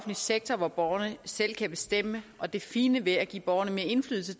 sektor hvor borgerne selv kan bestemme og det fine ved at give borgerne mere indflydelse